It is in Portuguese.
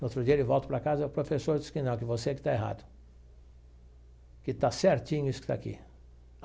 No outro dia ele volta para casa e o professor diz que não, que você que está errado, que está certinho isso que está aqui.